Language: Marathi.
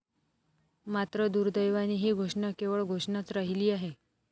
मात्र दुर्देवाने ही घोषणा केवळ घोषणाच राहिली आहे.